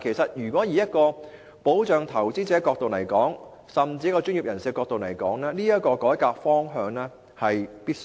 可是，從保障投資者甚至專業人士的角度來說，這項改革是必須的。